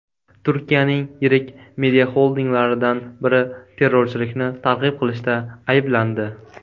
Turkiyaning yirik mediaxoldinglaridan biri terrorchilikni targ‘ib qilishda ayblandi.